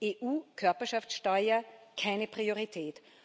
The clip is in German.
EU Körperschaftsteuer keine Priorität.